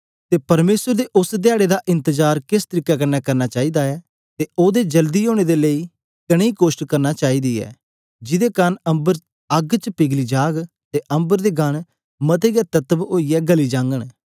अते परमेसर दे ओस धयारे दी बाट किस तरीके कन्ने जोहना चाहे दा ऐ अते ओहदे जल्दी औने दे लेई कनेया यत्न करना चाहि दा ऐ जिदे कारन अम्बर आग च पिघली जाग अते अम्बर दे गण मते हे तत्व ओई यै गली जाग